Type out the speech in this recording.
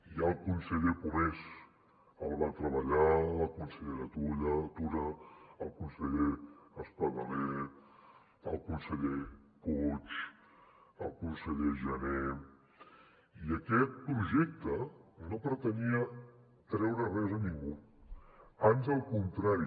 ja el conseller pomés hi va treballar la consellera tura el conseller espadaler el conseller puig el conseller jané i aquest projecte no pretenia treure res a ningú ans al contrari